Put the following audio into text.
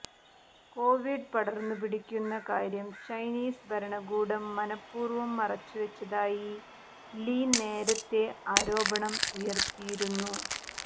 Covid പടര്ന്നുപിടിക്കുന്ന കാര്യം Chinese ഭരണകൂടം മനഃപൂര്വം മറച്ചുവച്ചതായി ലീ നേരത്തെ ആരോപണം ഉയര്ത്തിയിരുന്നു